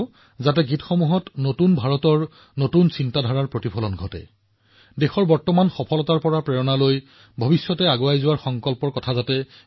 কিন্তু এই কামবোৰ নতুন ভাৰতৰ নতুন মনৰ হোৱাটো গুৰুত্বপূৰ্ণ দেশৰ বৰ্তমানৰ সফলতাৰ দ্বাৰা অনুপ্ৰাণিত আৰু ভৱিষ্যতৰ বাবে দেশক সংকল্পবদ্ধ কৰিবলৈ গৈ আছে